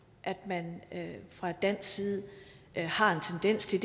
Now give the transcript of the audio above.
at man fra dansk side har en tendens til